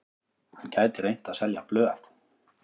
Hann gæti reynt að selja blöð.